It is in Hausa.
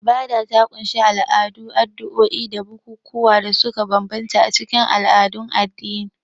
Ibada ta ƙunshi al'adu, addu'o'i da bukukuwan da suka bambanta a cikin al'adun addini.